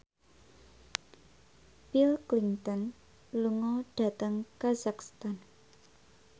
Bill Clinton lunga dhateng kazakhstan